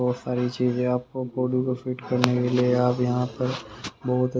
बहुत सारी चीजें आपको फोटो को फिट करने के लिए आप यहां पर बहुत--